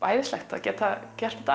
æðislegt að geta gert